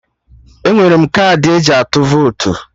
Enwere m kaadị eji atụ votu